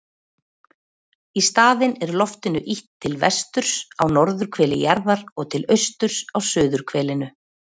Í staðinn er loftinu ýtt til vesturs á norðurhveli jarðar og til austurs á suðurhvelinu.